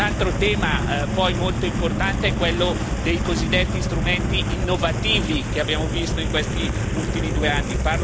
Un altro tema molto importante è quello dei cosiddetti strumenti innovativi che abbiamo visto in questi ultimi due anni.